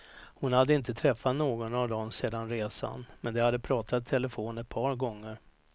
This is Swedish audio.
Hon hade inte träffat någon av dem sedan resan, men de hade pratat i telefon ett par gånger.